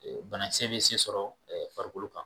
bana kisɛ bi se sɔrɔ farikolo kan